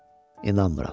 İnanmıram.